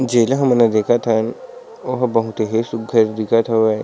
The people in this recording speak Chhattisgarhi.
जेला हमन हा देखत ओ हा बहुत ही सुग्घर दिखत हावय।